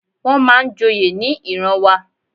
Wón máa ń joyè ní ìran wa.